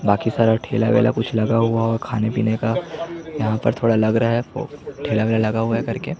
बाकी सारा ठेला-वेला कुछ लगा हुआ है खाने पीने का यहाँ पर थोड़ा लग रहा है ठेला-वेला कर के --